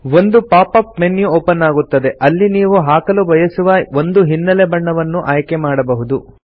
ಒಂದು pop up menu open ಆಗುತ್ತದೆ ಇಲ್ಲಿ ನೀವು ಹಾಕಲು ಬಯಸುವ ಒಂದು ಹಿನ್ನೆಲೆ ಬಣ್ಣವನ್ನು ಆಯ್ಕೆ ಮಾಡಬಹುದು